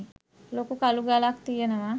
ලොකු කළු ගලක් තියෙනවා